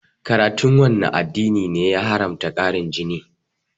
Karatun wanne addini ne ya haramta ƙarin jini?